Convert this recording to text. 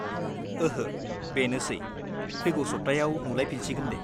ओहो, बेनोसै, फैगौ सब्थायाव नुलायफिनसिगोन दे।